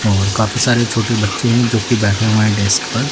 और काफी सारे छोटे बच्चे हैं जो कि बैठे हुए हैं डेस्क पर।